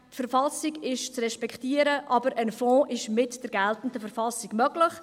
Die Verfassung ist zu respektieren, aber ein Fonds ist mit der geltenden Verfassung möglich.